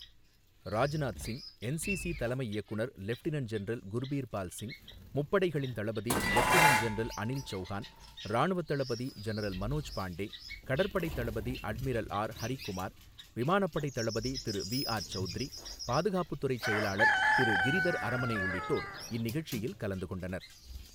Rajnath Singh, NCC தலைமை இயக்குநர் lieutenant general Gurbirpal Singh, முப்படைகளின் தளபதி லெப்டினன்ட் ஜெனரல் அனில் சௌகான், ராணுவத் தளபதி ஜெனரல் மனோஜ் பாண்டே, கடற்படைத் தளபதி அட்மிரல் ஆர் ஹரிகுமார், விமானப்படைத் தளபதி திரு விஆர் சௌத்ரி, பாதுகாப்புத் துறைச் செயலாளர் திரு கிரிதர் அரமனே உள்ளிட்டோர் இந்நிகழ்ச்சியில் கலந்து கொண்டனர்.